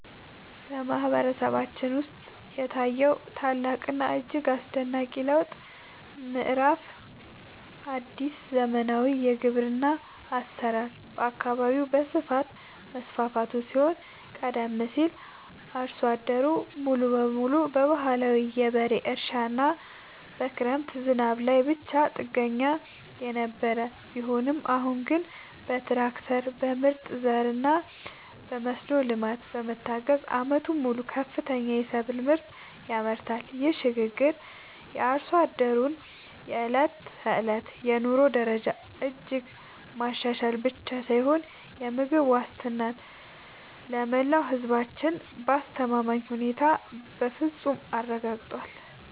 በማህበረሰባችን ውስጥ የታየው ታላቅና እጅግ አስደናቂ የለውጥ ምዕራፍ አዲስ የዘመናዊ ግብርና አሰራር በየአካባቢው በስፋት መስፋፋቱ ሲሆን ቀደም ሲል አርሶ አደሩ ሙሉ በሙሉ በባህላዊ የበሬ እርሻና በክረምት ዝናብ ላይ ብቻ ጥገኛ የነበረ ቢሆንም አሁን ግን በትራክተር፣ በምርጥ ዘርና በመስኖ ልማት በመታገዝ ዓመቱን ሙሉ ከፍተኛ የሰብል ምርት ያመርታል። ይህ ሽግግር የአርሶ አደሩን የዕለት ተዕለት የኑሮ ደረጃ እጅግ ማሻሻል ብቻ ሳይሆን የምግብ ዋስትናን ለመላው ህዝባችን በአስተማማኝ ሁኔታ በፍፁም አረጋግጧል።